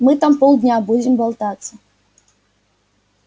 мы там полдня будем болтаться